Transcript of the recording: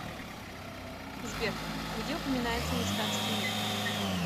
сбер где упоминается ништадтский мир